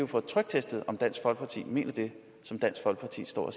få tryktestet om dansk folkeparti mener det som dansk folkeparti står